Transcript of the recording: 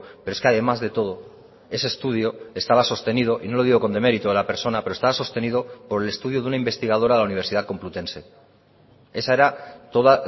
pero es que además de todo ese estudio estaba sostenido y no lo digo con demérito de la persona pero estaba sostenido por el estudio de una investigadora de la universidad complutense esa era toda